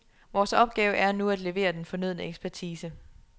Vores opgave et nu at levere den fornødne ekspertise.